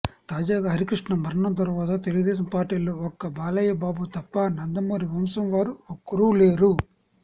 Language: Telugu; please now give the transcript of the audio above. తాజాగా హరికృష్ణ మరణం తర్వాత తెలుగుదేశం పార్టీలో ఒక్క బాలయ్యబాబు తప్ప నందమూరి వంశం వారు ఒక్కరూ లేరు